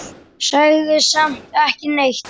Sagði samt ekki neitt.